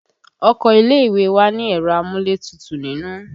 Ọkọ ilé ìwé wa ni ẹ̀rọ amúlétutù nínú